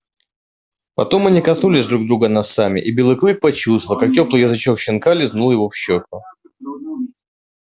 потом они коснулись друг друга носами и белый клык почувствовал как тёплый язычок щенка лизнул его в щёку